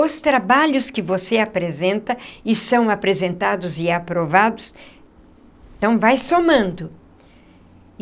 Os trabalhos que você apresenta, e são apresentados e aprovados, então vai somando e.